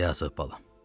Ya Rəbb, bala.